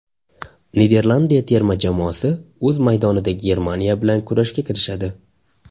Niderlandiya terma jamoasi o‘z maydonida Germaniya bilan kurashga kirishadi.